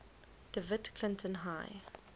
dewitt clinton high